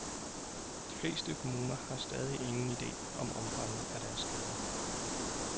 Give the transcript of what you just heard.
De fleste kommuner har stadig ingen ide om omfanget af deres skader.